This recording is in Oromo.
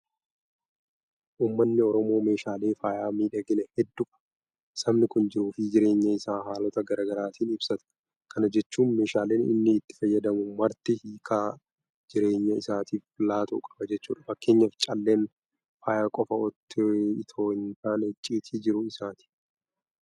Uummanni Oromoo meeshaalee faaya miidhaginaa hedduu qaba. Sabni kun jiruufi jireenya isaa haalota garaa garaatiin ibsata. Kana jechuun meeshaaleen inni itti fayyadamu marti hiika jireenya isaatiif laatu qaba jechuudha. Fakkeenyaaf calleen faaya qofa itoo hintaane icciitii jiruu isaati.